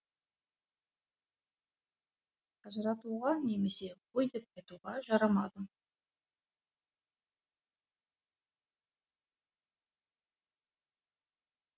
ажыратуға немесе қой деп айтуға жарамады